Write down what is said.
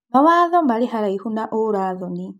Mawatho marĩ haraihu na urathoni.